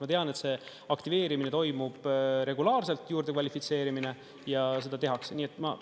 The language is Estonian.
Ma tean, et see aktiveerimine toimub regulaarselt, juurde kvalifitseerimine, ja seda tehakse.